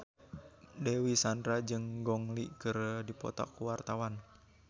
Dewi Sandra jeung Gong Li keur dipoto ku wartawan